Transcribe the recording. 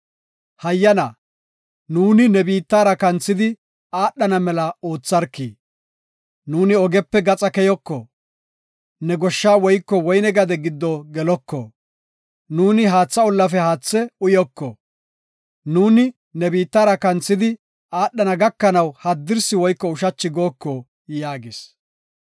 “Hayyana, nu ne biittara kanthidi aadhana mela ootharki; nuuni ogepe gaxa keyoko; ne goshsha woyko woyne gade giddo geloko; nuuni haatha ollafe haathe uyoko. Nuuni ne biittara kanthidi aadhana gakanaw haddirsi woyko ushachi gooko” yaagis.